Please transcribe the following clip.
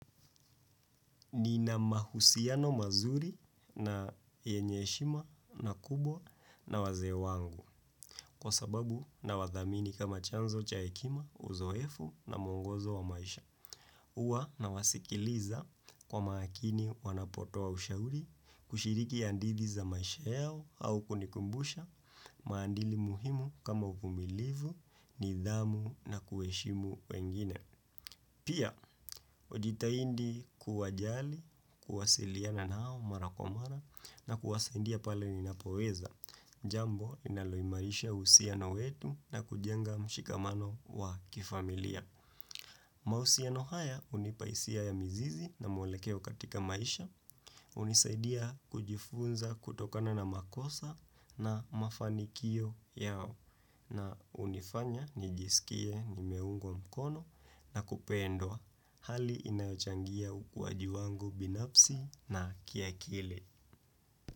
Nina mahusiano mazuri na yenye heshima na kubwa na wazee wangu kwa sababu na wathamini kama chanzo cha hekima uzoefu na mwongozo wa maisha. Uwa na wasikiliza kwa makini wanapotoa ushauri kushiriki andidhi za maisha yao au kunikumbusha maandili muhimu kama uvumilivu nidhamu na kuheshimu wengine. Pia, ujitahindi kuwajali, kuwasiliana nao marakwamara na kuwasaindia pale ninapoweza. Jambo linaloimarisha uhusiano wetu na kujenga mshikamano wa kifamilia. Mausino haya hunipa hisia ya mizizi na mwelekeo katika maisha, hunisaidia kujifunza kutokana na makosa na mafanikio yao na unifanya nijisikie nimeungwa mkono na kupendwa hali inayochangia ukwaji wangu binafsi na kia kile.